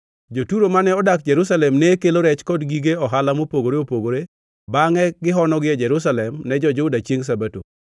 Jo-Turo mane odak Jerusalem ne kelo rech kod gige ohala mopogore opogore bangʼe gihonogi ei Jerusalem ne jo-Juda chiengʼ Sabato.